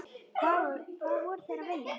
Hvað voru þeir að vilja?